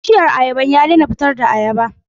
Bishiyar ayabar ya daina fitar da ayaba.